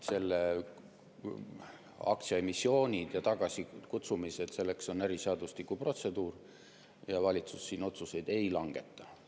Aktsiaemissioonid ja tagasikutsumised – selleks on äriseadustiku protseduur ja valitsus siin otsuseid ei langeta.